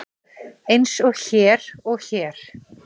Eins og hér og hér.